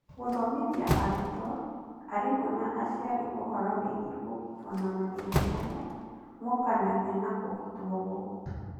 gũthomithia arutwo, arimũ na aciari ũhoro wĩgie kũgitwo na mathĩna maria mokanagia na kũgitwo gũkũ.